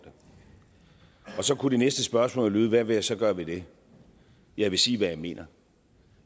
det så kunne det næste spørgsmål lyde hvad vil jeg så gøre ved det jeg vil sige hvad jeg mener